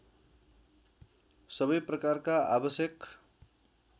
सबै प्रकारका आवश्यक